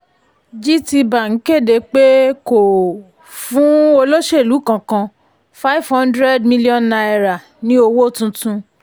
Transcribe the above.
GTBank kéde pé kò fún olóṣèlú kankan five hundred million naira ní owó tuntun